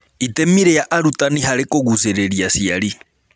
Itemi rĩa Arutani harĩ Kũgucĩrĩria Aciari